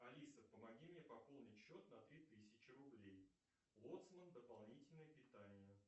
алиса помоги мне пополнить счет на три тысячи рублей лоцман дополнительное питание